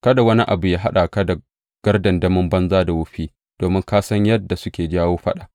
Kada wani abu yă haɗa ka da gardandamin banza da wofi, domin ka san yadda suke jawo faɗa.